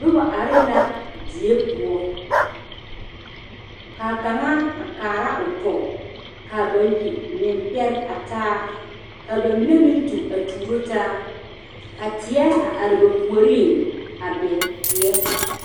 Noba are la die poɔ ka kaŋa a kaara o tɔ ka bayi meŋ pɛre taa ka bamine meŋ tu a tuuro taa ka teɛ a are ba puoriŋ, abɛ teɛ.